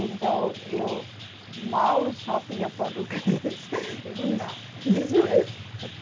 Então, eu mal sabia português. Já ia perguntar